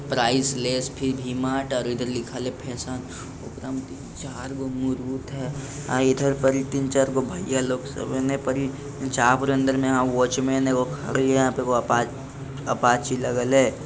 Price less फिर V Mart और इधर लिखा फैशन और इधर पर तीन-चार गो भैया लोग सब है और इने पर वाचमेन खड़ी है वहां पर वो ए गो अपाच अपाची लगी है।